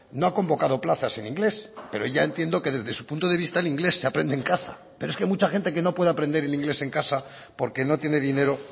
no ha convocado plazas en inglés pero ya entiendo que desde su punto de vista el inglés se aprende en casa pero es que mucha gente que no puede aprender el inglés en casa porque no tiene dinero